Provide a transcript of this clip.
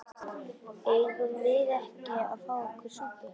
Eigum við ekki að fá okkur súpu?